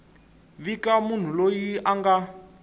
vika munhu loyi a nga